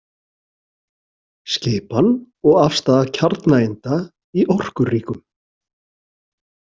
Skipan og afstaða kjarnaeinda í orkuríkum.